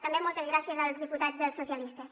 també moltes gràcies als diputats socialistes